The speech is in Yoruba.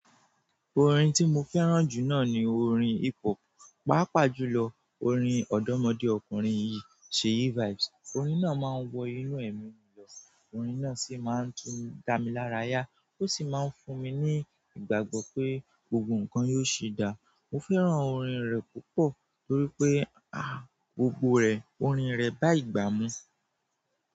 Orin tí mo fẹ́ràn jù náà ni orin hip hop. Pápá jù lọ, orin ọ̀dọ́mọdé ọkùnrin yìí Sheyi vibes. Orin náà máa ń wọ inú ẹ̀mi lọ. Orin náà sì máa ń tún dá mi lára yá. Ó sì máa ń fún mi ní ìgbàgbọ́ pé gbogbo nǹkan yóò ṣì dáa. Mo fẹ́ràn orin rẹ̀ púpọ̀ torí pé, ah, gbogbo rẹ̀, orin rẹ̀ bá ìgbà mú.